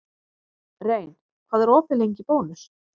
Rein, hvað er opið lengi í Bónus?